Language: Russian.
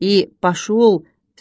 и пошёл